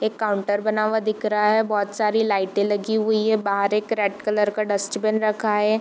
एक काउंटर बना हुआ दिख रहा है बहुत सारी लाइटे लगी हुई है बाहर एक रेड कलर का डस्टबिन रखा है।